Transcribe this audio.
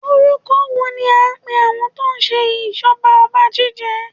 Orúkọ wo ní a ń pè àwọn tó ń ṣe ìjọba ọba Jíjẹ?